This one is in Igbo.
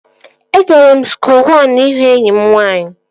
Ejere m skuul wan ịhụ enyi m nwaanyị